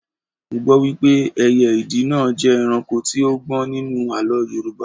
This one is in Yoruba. Mo gbọ́ wípé ẹyẹ ìdì náà jẹ́ ẹranko tí ó gbọ́n nínú àlọ́ Yorùbá